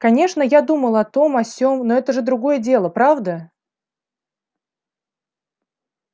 конечно я думал о том о сём но это же другое дело правда